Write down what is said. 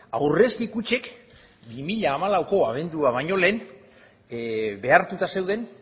aurrezki kutxek bi mila hamalauko abendua baino lehen behartuta zeuden